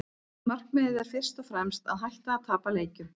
Markmiðið er fyrst og fremst að hætta að tapa leikjum.